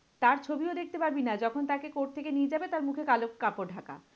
তার ছবিও দেখতে পাবি না, যখন তাকে court থেকে নিয়ে যাবে তার মুখে কালো কাপড় ঢাকা।